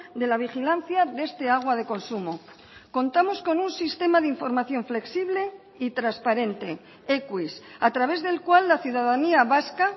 de la vigilancia de este agua de consumo contamos con un sistema de información flexible y transparente ekuis a través del cual la ciudadanía vasca